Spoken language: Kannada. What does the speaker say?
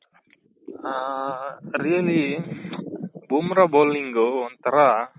ಹ really ಬೂಮ್ರ bowling ಒಂಥರಾ